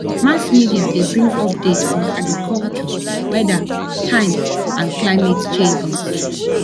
mass media de bring updates on agriculture weather time and climatic changes